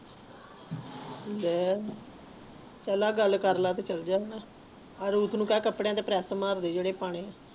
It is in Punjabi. ਲਾਇ ਚਾਲ ਆ ਗੱਲ ਕਰਲਾ ਤੇ ਚਲਜਾ ਹੁਣ ਆ ਰੂਸ ਨੂੰ ਕਹਿ ਕੱਪਡ਼ਿਆਂ ਤੇ ਪ੍ਰੈਸ ਮਾਰਦੇ ਜਿਹੜੇ ਪਾਣੇ